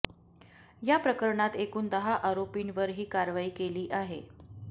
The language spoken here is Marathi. या प्रकरणात एकूण दहा आरोपींवर ही कारवाई केली आहे